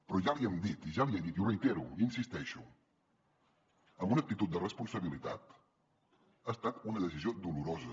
però ja l’hi hem dit i ja l’hi he dit i ho reitero hi insisteixo amb una actitud de responsabilitat ha estat una decisió dolorosa